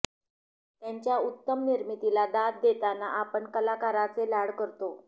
त्यांच्या उत्तम निर्मितीला दाद देताना आपण कलाकाराचे लाड करतो